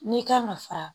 N'i kan ka fara